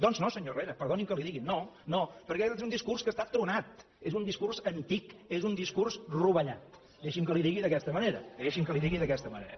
doncs no senyor herrera perdoni que li ho digui no no perquè és un discurs que està tronat és un discurs antic és un discurs rovellat deixi’m que li ho digui d’aquesta manera deixi’m que li ho digui d’aquesta manera